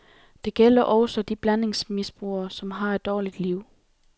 Det gælder også de blandingsmisbrugere, som har et dårligt liv.